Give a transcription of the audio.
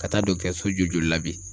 Ka taa joli joli la bi.